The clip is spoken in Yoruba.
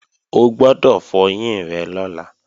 O gbọ́dọ̀ fọyín rẹ lọ́la!